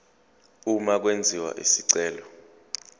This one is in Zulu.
uma kwenziwa isicelo